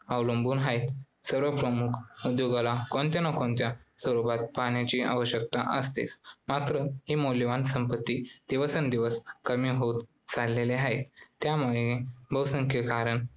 अवलंबून आहेत. सर्व प्रमुख उद्योगांना कोणत्या ना कोणत्या स्वरूपात पाण्याची आवश्यकता असते. मात्र ही मौल्यवान संपत्ती दिवसेंदिवस कमी होत चाललेली आहे. त्यामागील बहुसंख्य कारणे